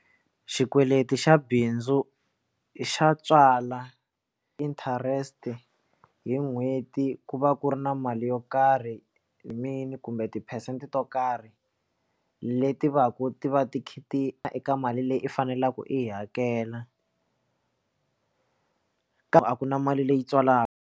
Xikweleti xa bindzu xa tswala interest hi n'hweti ku va ku ri na mali yo karhi main kumbe tiphesente to karhi leti va ku ti va ti kha ti eka mali leyi u faneleke u yi hakela kambe a ku na mali leyi tswalaka.